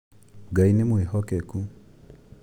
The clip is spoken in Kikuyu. Ngai nĩ mwĩhokeku